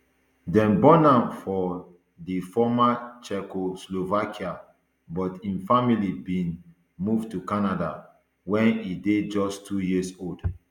dem born am for di former czechoslovakia but im family bin move to canada wen e dey just two years old